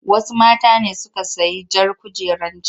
Wasu mata ne suka sayi jar kujerar can.